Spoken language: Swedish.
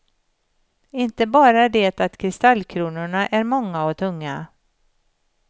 Inte bara det att kristallkronorna är många och tunga.